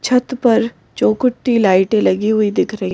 छत पर चौकुटी लाइटें लगी हुई दिख रही --